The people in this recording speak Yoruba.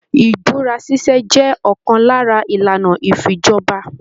Ibúra ṣiṣe jẹ òkan lára ìlànà ifíjọba.